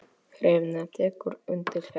Hrefna tekur undir þetta.